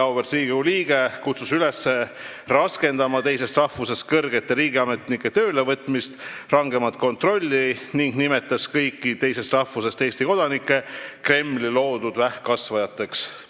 Auväärt Riigikogu liige kutsus üles raskendama teisest rahvusest kõrgete riigiametnike töölevõtmist ja tegema rangemat kontrolli ning nimetas kõiki teisest rahvusest Eesti kodanikke Kremli loodud vähkkasvajateks.